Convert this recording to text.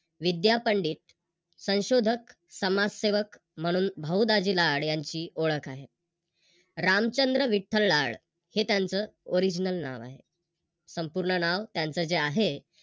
विद्या पंडित संशोधक, समाजसेवक म्हणून भाऊ दाजी लाड यांची ओळख आहे. रामचंद्र विठ्ठल लाड हे त्यांच Original नाव आहे. संपूर्ण नाव त्यांच जे आहे